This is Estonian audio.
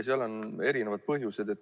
Seal on erinevad põhjused.